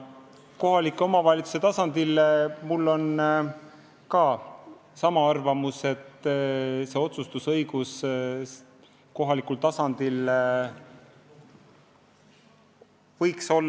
Mis puutub kohaliku omavalitsuse tasandisse, siis otsustusõigus kohalikul tasandil võiks olla.